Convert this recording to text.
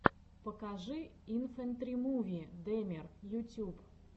покажи инфэнтримуви дэмир ютюб